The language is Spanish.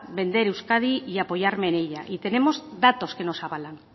vender euskadi y apoyarme en ello y tenemos datos que nos avalan